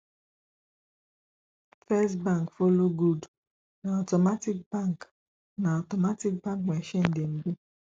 first bank follow good na automatic bank na automatic bank machine dem be